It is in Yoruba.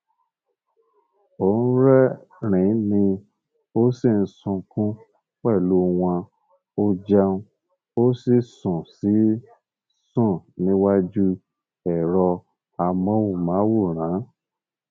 ó rẹrìnín ó sì ń sunkún pẹlú wọn ó jẹun ó sì sùn sì sùn níwájú ẹrọ amóhùnmáwòrán